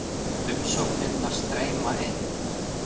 Umsóknirnar streyma inn